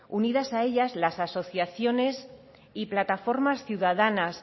unidas a ellas las asociaciones y plataformas ciudadanas